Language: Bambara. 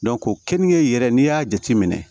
ko kenige yɛrɛ n'i y'a jateminɛ